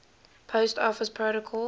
post office protocol